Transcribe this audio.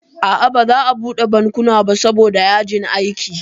A'a baza a buɗe bankuna ba saboda yajin aiki